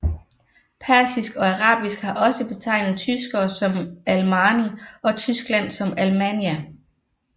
Persisk og arabisk har også betegnet tyskere som Almaani og Tyskland som Almaania